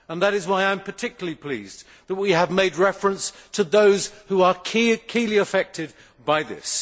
That is why I am particularly pleased that we have made reference to those who are primarily affected by this.